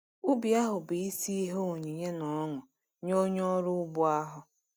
Ubi ahụ bụ isi ihe onyinye na ọṅụ nye onye ọrụ ugbo ahụ.